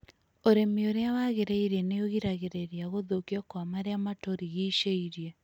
Ũrĩmi ũrĩa wagĩrĩire nĩ ũgiragĩrĩria gũthũkio kwa marĩa maturigicĩirie.